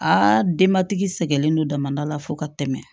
Aa denbatigi sɛgɛn don damadɔ la fo ka tɛmɛ